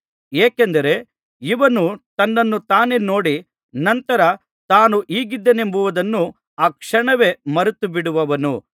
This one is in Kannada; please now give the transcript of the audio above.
ಏಕೆಂದರೆ ಇವನು ತನ್ನನ್ನು ತಾನೇ ನೋಡಿ ನಂತರ ತಾನು ಹೀಗಿದ್ದೇನೆಂಬುದನ್ನು ಆ ಕ್ಷಣವೇ ಮರೆತುಬಿಡುವನು